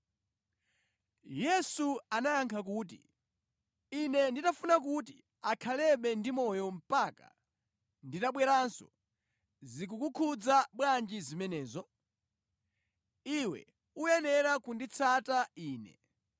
Yesu anayankha kuti, “Ine nditafuna kuti akhalebe ndi moyo mpaka nditabweranso, zikukukhudza bwanji zimenezo? Iwe uyenera kunditsata Ine.”